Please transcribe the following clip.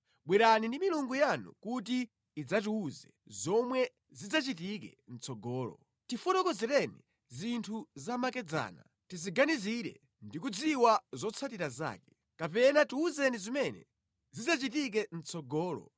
Bwerani ndi milungu yanu kuti idzatiwuze zomwe zidzachitike mʼtsogolo. Tifotokozereni zinthu zamakedzana tiziganizire ndi kudziwa zotsatira zake. Kapena tiwuzeni zimene zidzachitike mʼtsogolo,